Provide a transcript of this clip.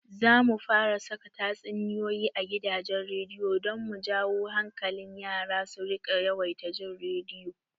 Zamu fara saka tatsuniyoyi a gidajen rediyo don mu jawo hankalin yara su riƙa yawaita jin rediyo